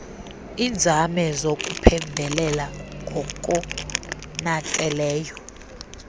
iinzame zokuphembelela ngokonakeleyo